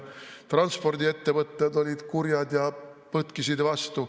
Transpordiettevõtted olid kurjad ja põtkisid vastu.